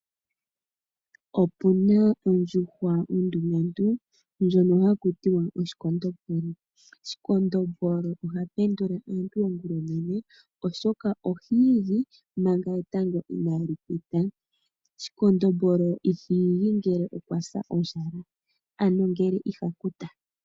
Opu na ondjuhwa ondumentu ndjono ha kutiwa oshikondombolo. Shikondombolo oha pendula aantu ongulonene oshoka ohiigi manga etango ina li pita, ashike shikondombolo iha igi ngele okwa sa ondjala ano ngele iha kuta.